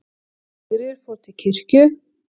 Sigríður fór til kirkju.